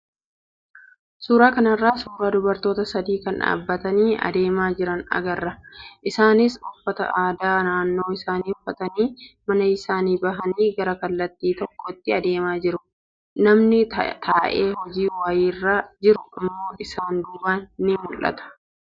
Suuraa kanarraa suuraa dubartoota sadii kan dhaabbatanii adeemaa jira agarra. Isaanis uffata aadaa naannoo isaanii uffatanii mana isaanii bahanii gara kallattii tokkotti adeemaa jiru. Namni taa'ee hojii wayiirra jiru immoo isaan duubaan ni mul'ata.